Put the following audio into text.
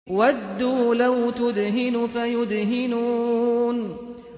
وَدُّوا لَوْ تُدْهِنُ فَيُدْهِنُونَ